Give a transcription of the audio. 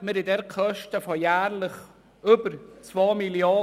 Wir haben dort Kosten von jährlich über 2 Mrd. Franken.